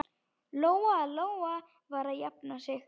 Lóa-Lóa var að jafna sig.